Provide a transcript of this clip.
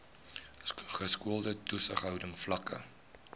geskoolde toesighouding vlakke